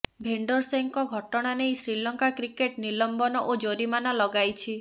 ଭେଣ୍ଡରସେଙ୍କ ଘଟଣା ନେଇ ଶ୍ରୀଲଙ୍କା କ୍ରିକେଟ ନିଲମ୍ବନ ଓ ଜରିମାନା ଲଗାଇଛି